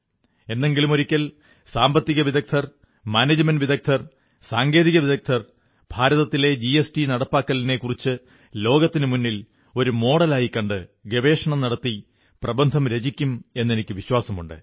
എന്നെങ്കിലുമൊരിക്കൽ സാമ്പത്തിക വിദഗ്ധർ മാനേജ്മെന്റ് വിദഗ്ധർ സാങ്കേതികവിദഗ്ധർ ഭാരതത്തിലെ ജിഎസ്ടി നടപ്പിലാക്കലിനെക്കുറിച്ച് ലോകത്തിനുമുന്നിൽ ഒരു മാതൃകയായി കണ്ട് ഗവേഷണം നടത്തി പ്രബന്ധം രചിക്കും എെന്നനിക്ക് വിശ്വാസമുണ്ട്